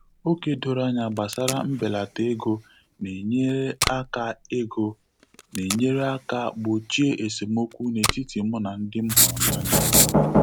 Ókè doro anya gbasara mbelata ego na-enyere aka ego na-enyere aka gbochie esemokwu n'etiti mụ na ndị m hụrụ n'anya.